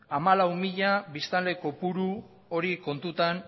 hamalau mila biztanle kopuru hori kontutan